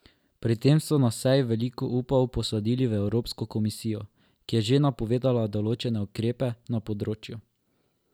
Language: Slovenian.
Pri tem so na seji veliko upov posadili v Evropsko komisijo, ki je že napovedala določene ukrepe na tem področju.